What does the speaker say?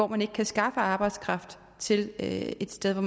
man ikke kan skaffe arbejdskraft til et sted